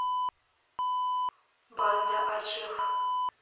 банда ачех